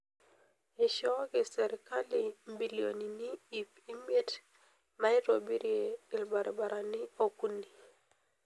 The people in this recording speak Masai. Eishooki serkali mbilionini iip imiet naitobirie ilbarabarani okuni.